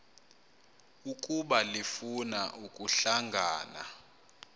ukuba lifuna ukuhlangana